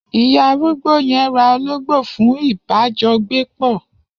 Iya arúgbó yen ra ológbó fun ìbá jọ gbé pọ